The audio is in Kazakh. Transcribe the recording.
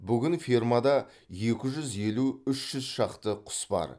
бүгін фермада екі жүз елу үш жүз шақты құс бар